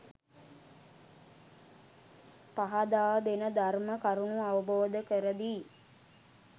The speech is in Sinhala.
පහදා දෙන ධර්ම කරුණු අවබෝධ කරදී.